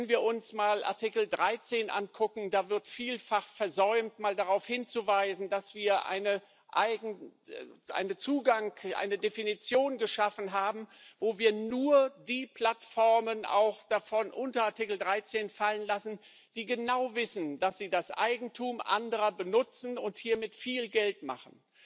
Wenn wir uns einmal Artikel 13 ansehen Da wird vielfach versäumt, darauf hinzuweisen, dass wir einen Zugang, eine Definition geschaffen haben, wonach wir nur die Plattformen unter Artikel 13 fallen lassen, die genau wissen, dass sie das Eigentum anderer benutzen und hiermit viel Geld machen.